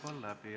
Aeg on läbi.